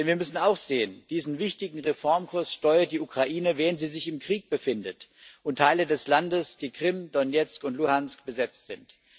Denn wir müssen auch sehen Diesen wichtigen Reformkurs steuert die Ukraine, während sie sich im Krieg befindet und Teile des Landes die Krim, Donezk und Luhansk besetzt sind.